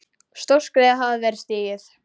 Stórt skref hafði verið stigið.